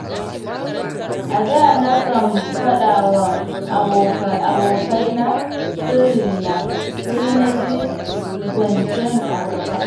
A da nakan faɗawa abokaina sirrina, sai naji zancen a gaba.